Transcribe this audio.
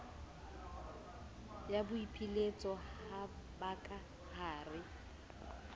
ya boipiletso ba ka hare